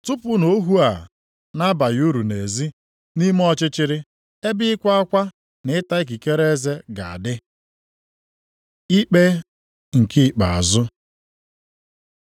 Tụpụnụ ohu a na-abaghị uru nʼezi, nʼime ọchịchịrị, ebe ịkwa akwa na ịta ikikere eze ga-adị.’ Ikpe nke ikpeazụ